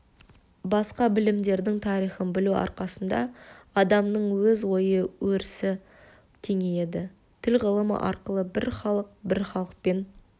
басқа білімдердің тарихын білу арқасында адамның өз ой-өрісі кеңейеді тіл ғылымы арқылы бір халық бір халықпен